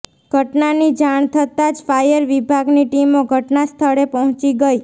ઘટનાની જાણ થતાં જ ફાયર વિભાગની ટીમો ઘટના સ્થળે પહોંચી ગઇ